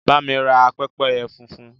Bá mi ra pẹ́pẹ́yẹ funfun.